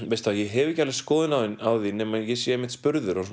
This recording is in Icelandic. veistu ég hef ekki alveg skoðun á því nema ég sé einmitt spurður og